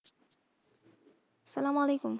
সালামওয়ালেকুম।